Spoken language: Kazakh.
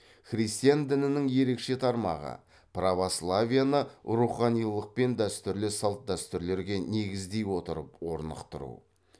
христиан дінінің ерекше тармағы православиені руханилықпен дәстүрлі салт дәстүрлерге негіздей отырып орнықтыру